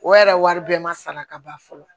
O yɛrɛ wari bɛɛ ma sara ka ban fɔlɔ